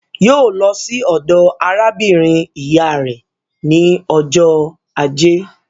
Yóò lọ sí ọ̀dọ̀ arábìnrin ìyá rẹ̀ ní ọjọ́ ajé.